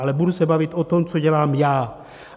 Ale budu se bavit o tom, co dělám já.